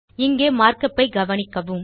இங்கே மார்க் upஐ கவனிக்கவும்